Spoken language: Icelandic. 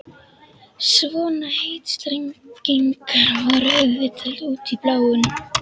Svona heitstrengingar voru auðvitað út í bláinn.